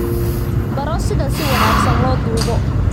Baro sida si wanaagsan loo duubo.